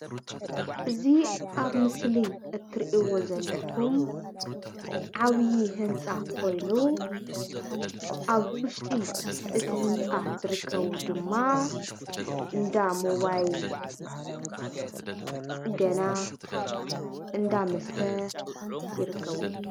እዚ ኣብ ምስሊ እትሪእዎ ዘለኩም ዓብይ ህንፃ ኮይኑ ኣብ ውሽጢ እቲ ህንፃ ዝርከቡ ድማ እንዳ ሞባይል ፅገና፣ እንዳ መስተ ይርከብዎ፡፡